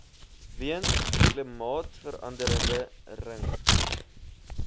weens klimaatsverande ring